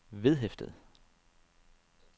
vedhæftet